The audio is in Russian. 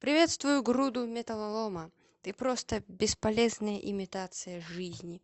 приветствую груду металлолома ты просто бесполезная имитация жизни